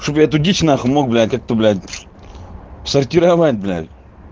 чтобы я эту дичь нахуй мог блядь как-то блядь сортировать блядь